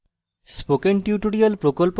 spoken tutorial প্রকল্প সম্পর্কে অধিক জানতে